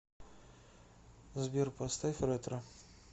сбер поставь ретро